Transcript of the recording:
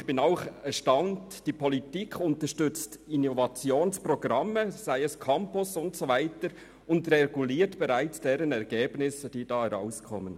Ich bin erstaunt, dass die Politik Innovationsprogramme wie Campus unterstützt und gleichzeitig bereits die daraus resultierenden Ergebnisse reguliert.